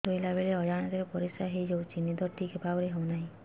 ଶୋଇଲା ବେଳେ ଅଜାଣତରେ ପରିସ୍ରା ହୋଇଯାଉଛି ନିଦ ଠିକ ଭାବରେ ହେଉ ନାହିଁ